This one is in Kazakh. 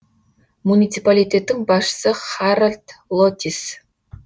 муниципалитеттің басшысы харальд лотис